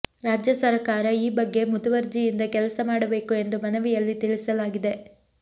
ರಾಜ್ಯ ಸರಕಾರ ಈ ಬಗ್ಗೆ ಮುತುವರ್ಜಿಯಿಂದ ಕೆಲಸ ಮಾಡಬೇಕು ಎಂದು ಮನವಿಯಲ್ಲಿ ತಿಳಿಸಲಾಗಿದೆ